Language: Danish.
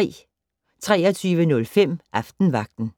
23:05: Aftenvagten